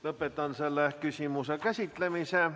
Lõpetan selle küsimuse käsitlemise.